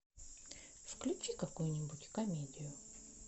включи какую нибудь комедию